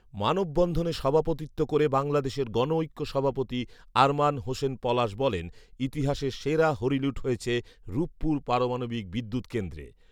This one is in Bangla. মানববন্ধনে সভাপতিত্ব করে বাংলাদেশ গণঐক্য সভাপতি আরমান হোসেন পলাশ বলেন, ইতিহাসের সেরা হরিলুট হয়েছে রূপপুর পারমাণবিক বিদ্যুৎ কেন্দ্রে